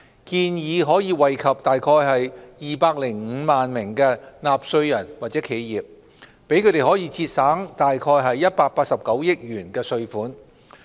建議可惠及約205萬名納稅人或企業，讓他們節省約189億元稅款。